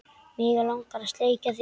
Mig langar að sleikja þig.